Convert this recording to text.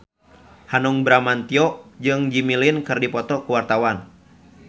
Hanung Bramantyo jeung Jimmy Lin keur dipoto ku wartawan